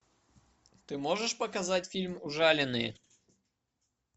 ты можешь показать фильм ужаленные